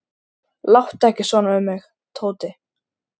Láttu ekki svona við mig, Tóti.